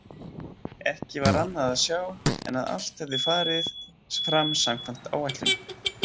Ekki var annað að sjá en að allt hefði farið fram samkvæmt áætlun.